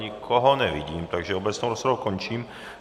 Nikoho nevidím, takže obecnou rozpravu končím.